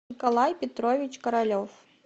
николай петрович королев